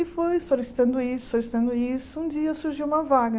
E fui solicitando isso, solicitando isso, um dia surgiu uma vaga.